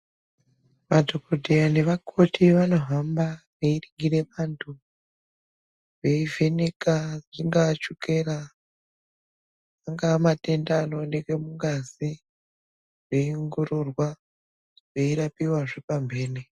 Madhokodheya nevakoti vanohamba veiningire vantu veivheneka ingaa shukera angaa matenda anooneke mungazi veiongororwa veirapiwazve pamhene.